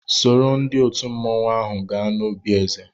Sòró ndị òtù mmanwu áhù gaa n'òbi èzè